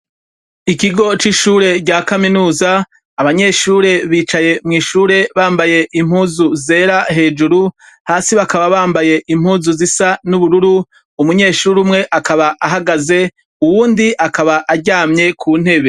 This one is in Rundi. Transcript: Ikigo cishure rya kaminuza, abanyeshure bicaye mwishure bambaye impuzu zera hejuru hasi bakaba bambaye impuzu zisa nubururu, umunyeshure umwe akaba ahagaze , uwundi akaba aryamye kuntebe.